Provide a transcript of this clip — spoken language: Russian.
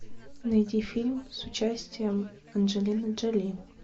найди фильм с участием анджелины джоли